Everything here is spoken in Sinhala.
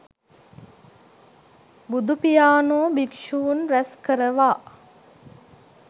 බුදුපියාණෝ භික්ෂූන් රැස් කරවා